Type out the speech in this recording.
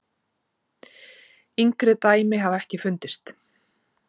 Yngri dæmi hafa ekki fundist.